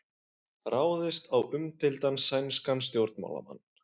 Ráðist á umdeildan sænskan stjórnmálamann